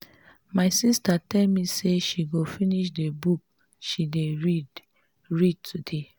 my sister tell me say she go finish the book she dey read read today